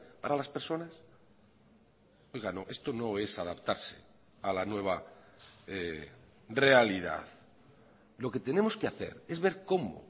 para las personas oiga no esto no es adaptarse a la nueva realidad lo que tenemos que hacer es ver cómo